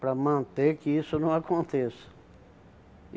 Para manter que isso não aconteça.